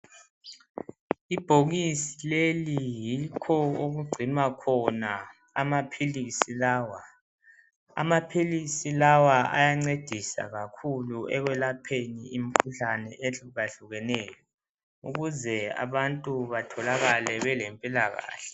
Ibhokisi leli yikho okugcinwa khona amaphilisi lawa amaphilisi lawa ayancedisa kakhulu ekwelapheni imikhuhlane ehluka hlukeneyo ukuze abantu batholakale belempilakahle.